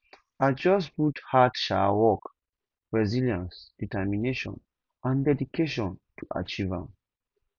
i just put hard um work resilience determination and dedication to achieve am